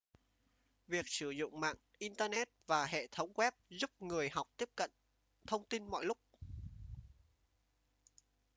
việc sử dụng mạng internet và hệ thống web giúp người học tiếp cận thông tin mọi lúc